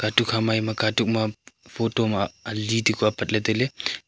dukhama eya katuk ma photo ma ali tekuh apat lahley tailey.